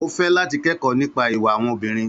Ó fẹ́ láti kẹ́kọ̀ọ́ nípa ìwà àwọn obìnrin.